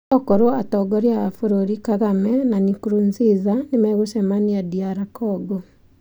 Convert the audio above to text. Okorwo atongoria a abũrũri Kagame na Nkurunziza nĩmegũcemania DR Congo.